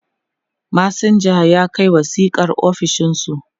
masinjan ya Kai wasiƙar ofishinsu